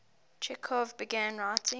chekhov began writing